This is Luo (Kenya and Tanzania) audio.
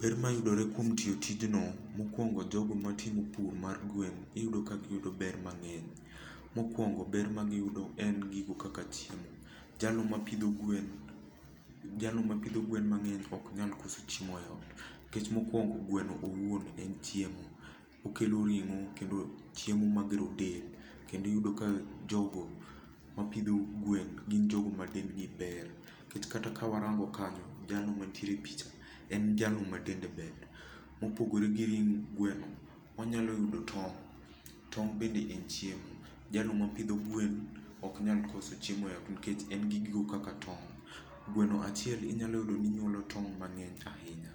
Ber mayudore kuom tiyo tijno, mokuongo jogo matimo pur mar gwen, iyudo ka giyudo ber mang'eny. Mokuongo ber ma giyudo en gigo kaka chiemo. Jalno mapidho gwen, jalno mapidho gwen mang'eny ok nyal koso chiemo ei ot. Nikech mokuongo, gweno owuon en chiemo. Okelo ring'o, kendo chiemo ma gero del. Kendo iyudo ka jogo mapidho gwen gin jogo ma dendgi ber. Nikech kata ka warango kanyo, jalno mantiere e picha en jalno ma dende ber. Mopogore gi ring gweno, onyalo yudo tong'. Tong' bende en chiemo. Jalno mopidho gwen oknyal koso chiemo e ot nikech en gi gigo kaka tong'. Gweno achiel inyalo yudo ni nyuolo tong' mang'eny ahinya.